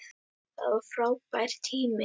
Það var frábær tími.